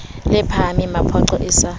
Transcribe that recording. le phahamele mapoqo e sa